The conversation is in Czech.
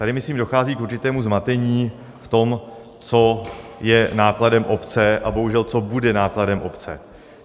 Tady myslím dochází k určitému zmatení v tom, co je nákladem obce a bohužel co bude nákladem obce.